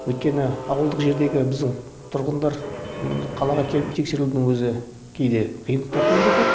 өйткені ауылдық жердегі біздің тұрғындар қалаға келіп тексерілудің өзі кейде қиындықтар туындатады